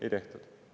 Ei tehtud.